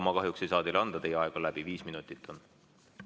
Ma kahjuks ei saa teile seda anda, teie aeg on läbi, viis minutit on see aeg.